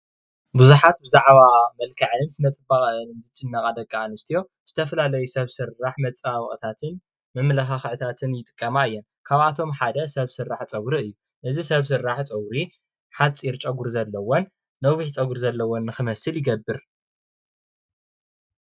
ቡዙሓት ብዛዕባ መልክዕን ስነ - ፅባቐን ዝፅበቃ ደቂ ኣነስትዮ ዝተፈላለዩ ሰብ ስራሕን መፀባበቐታትን መመላካክዕታትን ይጥቐማ እየን፡፡ ካብኣቶም ሓደ ሰብ ስራሕ ፀጉሪ እዩ፡፡ እዚ ሰብ ስራሕ ፀጉሪ ቤት ሓፅር ፀጉሪ ዘለወን ነዊሕ ፀጉሪ ዘለወን ንክመስልይገብር፡፡